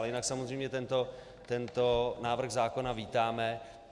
Ale jinak samozřejmě tento návrh zákona vítáme.